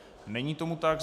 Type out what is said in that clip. Není tomu tak.